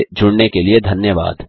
हमसे जुडने के लिए धन्यवाद160